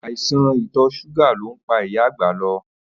Àìsàn ìtò̩ s̩úgà ló ń pa ìyà àgbà lo̩